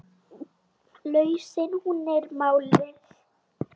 Lausnin hún er málið.